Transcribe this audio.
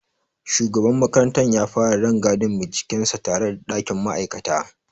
Shugaban makarantar ya fara rangadin bincikensa tare da ɗakin ma'aikata.